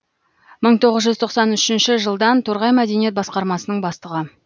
мың тоғыз жүз тоқсан үшінші жылдан торғай мәдениет басқармасының бастығы